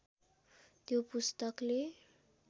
त्यो पुस्तकले